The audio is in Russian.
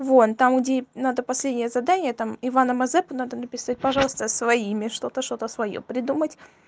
вон там где надо последнее задание там ивана мазепу надо написать пожалуйста своими что-то что-то своё придумать